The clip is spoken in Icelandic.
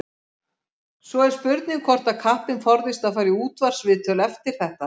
Svo er spurning hvort að kappinn forðist að fara í útvarpsviðtöl eftir þetta.